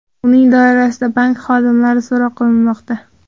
Uning doirasida bank xodimlari so‘roq qilinmoqda.